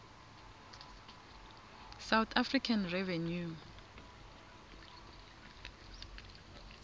south african revenue